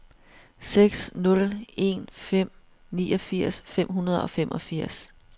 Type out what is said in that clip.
seks nul en fem niogfirs fem hundrede og femogfirs